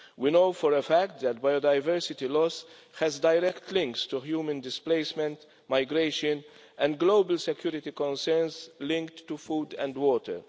We know for a fact that biodiversity loss has direct links to human displacement, migration and global security concerns linked to food and water.